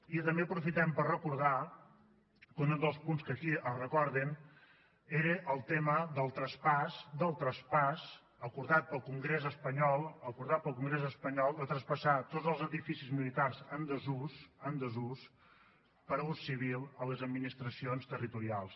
i també aprofitem per recordar que un dels punts que aquí es recorden ara el tema del traspàs acordat pel congrés espanyol acordat pel congrés espanyol de traspassar tots els edificis militars en desús en desús per a ús civil a les administracions territorials